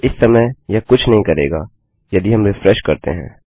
अब इस समय यह कुछ नही करेगा यदि हम रिफ्रेश करते हैं